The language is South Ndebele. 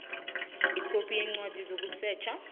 ikhophi yencwadi yokusetjha